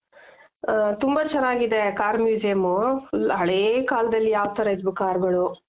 ಹಾ ತುಂಬ ಚೆನಾಗಿದೆ car museum full ಹಳೇ ಕಾಲದಲ್ಲಿ ಯಾವ್ ತರ ಇದ್ವು carಗಳು